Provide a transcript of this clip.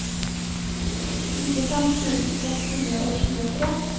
nittifem tusen seks hundre og tjuetre